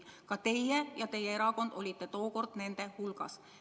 Ka teie ja teie erakond olite tookord nende hulgas.